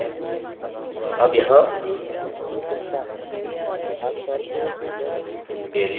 ठीक है अब यहाँ aliases निर्धारित करते हैं